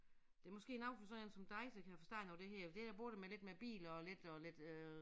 Det måske noget for sådan én som dig der kan forstå noget af det her for det da både med lidt med biler og lidt og lidt øh